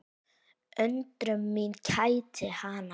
Undrun mín kætti hana.